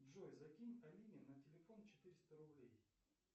джой закинь алине на телефон четыреста рублей